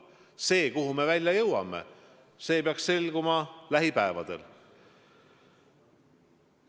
See, kuhu me välja jõuame, peaks selguma lähipäevadel.